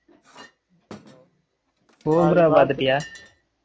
cobra பாத்துட்டியா